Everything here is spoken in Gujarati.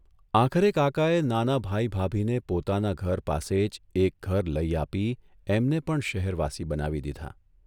આખરે કાકાએ નાના ભાઇ ભાભીને પોતાના ઘર પાસે જ એક ઘર લઇ આપી એમને પણ શહેરવાસી બનાવી દીધાં.